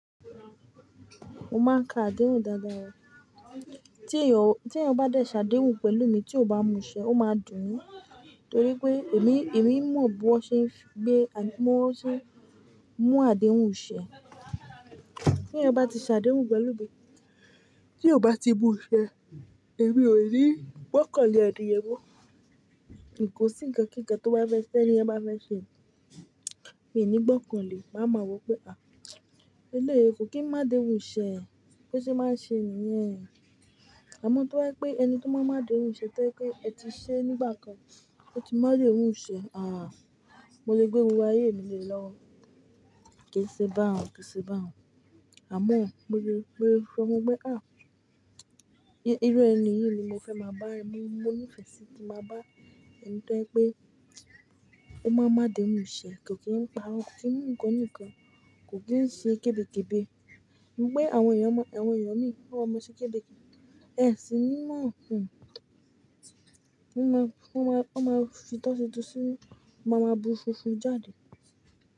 Mo máa ń ka àdéhùn dáadáa. Tí ẹẹyan bá dé ṣàdéhùn pẹ̀lú mi, tí ó bá mú iṣẹ́, ó máa dùn mi torí pé èmi, èmi mọ̀ bí wọ́n ṣe ń gbé, àbí mo sé ń mú àdéhùn iṣẹ́. Tí ẹeyan bá ti ṣàdéhùn pẹ̀lú mi, tí ó bá ti mu ṣẹ́, èmi ò ni gbọ́kàn le èni yẹn mọ́. Nì kó sì nkan kí nkàn tó bá fẹ́ ṣẹ́, tí ẹni yen bá fẹ́ ṣe. Mi ò ní gbọ́kàn lè, màá mọ̀ pé, à, eléèé, kò kí ń máa adéhùn ṣẹ́, bo se máa ṣe nìyẹn. Àmọ́ to ba je pé ẹni tí ó máa ń máa adéhùn ṣẹ́ tẹ́ je pe ẹ ti ṣe nígbà kan, ó ti máa déhùn ṣẹ́. Ààh, mo lè gbé gbogbo ayé mi le lọ́wo. Kì í ṣe bá òun, kì í ṣe bá òun. Àmọ́ mo lè, mo lè fọ́n ọ pé, irú ènìyí ni mo fẹ́ máa bá ẹ. Mo, mo nífẹ̀ẹ́ sí kí máa bá ẹni tí wọ́n pé ó máa ń máa déhùn iṣẹ́, kò kí ń pàrọ kò kín ń mú ǹkan òní nkan, kò kí ń ṣe kébékébé. Ní pé àwọn èèyàn ma, àwọn èèyàn mìí wọn máa ma ṣe kébékébé. Ẹ̀sìn ni mọ. Wọ́n máa, wọ́n máa fi itọọ́, wọ́n máa ma bu funfun jáde.